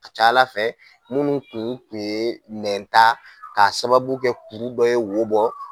ka ca Ala fɛ minnu kun tun ye nɛnta k'a sababu kɛ kuru dɔ ye wo bɔ